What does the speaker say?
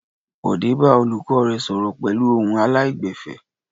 Bọ̀dé bá olùkọ́ rẹ̀ sọ̀rọ̀ pẹ̀lú ohùn aláìgbẹ̀fẹ̀.